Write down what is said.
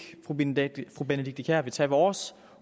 fru benedikte benedikte kiær vil tage vores